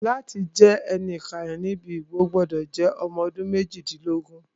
Láti jẹ́ ẹni ìkàyẹ̀ níbi ìbò, o gbọ́dọ̀ jẹ́ ẹni ọdún méjìdínlógún